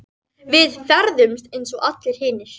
Við ferðumst eins og allir hinir.